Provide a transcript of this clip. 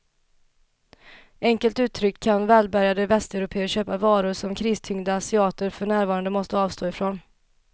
Enkelt uttryckt kan välbärgade västeuropéer köpa varor som kristyngda asiater för närvarande måste avstå ifrån.